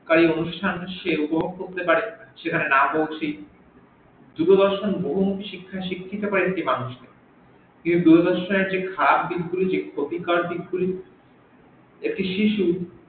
তাই অনুষ্ঠান ও সেইরকম করতে পারে সেখানে না পৌঁছেই দূরদর্শন বহুমুখি শিক্ষাই শিক্ষিত করে একটি মানুষকে দূরদর্শনের ঠিক খারাপ দিক গুলি ক্ষতিকারক দিক গুলি একটি শিশু